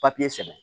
Papiye sɛbɛn